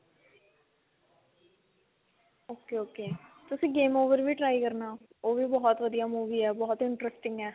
ok ok ਤੁਸੀਂ game over ਵੀ try ਕਰਨਾ ਉਹ ਵੀ ਬਹੁਤ ਵਧੀਆ movie ਹੈ ਬਹੁਤ interesting ਹੈ